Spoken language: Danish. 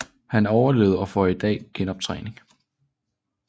Han overlevede og får i dag genoptræning